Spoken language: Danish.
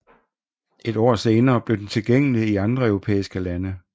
Et år senere blev den tilgængelig i andre europæiske lande